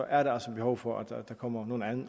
er der altså behov for at der kommer nogle